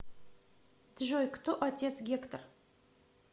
джой кто отец гектор